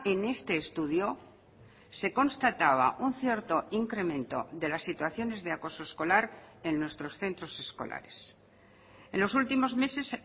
en este estudio se constataba un cierto incremento de las situaciones de acoso escolar en nuestros centros escolares en los últimos meses